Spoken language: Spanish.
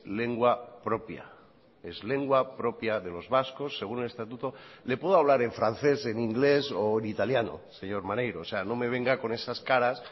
lengua propia es lengua propia de los vascos según el estatuto le puedo hablar en francés en inglés o en italiano señor maneiro o sea no me venga con esas caras